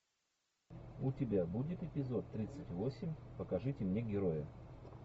у тебя будет эпизод тридцать восемь покажите мне героя